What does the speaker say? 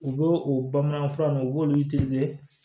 U b'o o bamanankan fura nunnu u b'olu